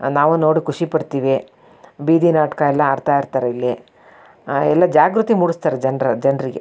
ನಾವು ನೋಡಿ ಖುಷಿ ಪಡ್ತಿವಿ ಬೀದಿ ನಾಟಕ ಎಲ್ಲ ಅಡ್ತ ಇರತ್ರೆ ಇಲ್ಲಿ ಆ ಎಲ್ಲ ಜಾಗ್ರತೆ ಮೂಡಿಸ್ತಾರೆ ಜನ್ರ ಜನ್ರಿಗೆ -